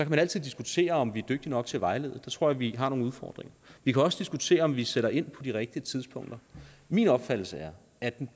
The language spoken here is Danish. man altid diskutere om vi er dygtige nok til at vejlede der tror jeg vi har nogle udfordringer vi kan også diskutere om vi sætter ind på de rigtige tidspunkter min opfattelse er at den